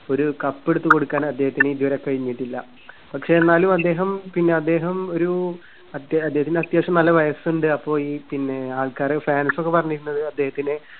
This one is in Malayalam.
ഒരു cup എടുത്തു കൊടുക്കാൻ അദ്ദേഹത്തിന് ഇതുവരെ കഴിഞ്ഞിട്ടില്ല. പക്ഷേ എന്നാലും അദ്ദേഹം പിന്നെ അദ്ദേഹം ഒരു അദ്ദേഹ~അദ്ദേഹത്തിന് അത്യാവശ്യം നല്ല വയസ്സുണ്ട്. അപ്പോ ഈ പിന്നെ ആൾക്കാര് fans ക്കെ പറഞ്ഞിരുന്നത് അദ്ദേഹത്തിന്